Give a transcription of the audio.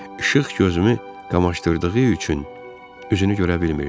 İşıq gözümü qamaşdırdığı üçün üzünü görə bilmirdim.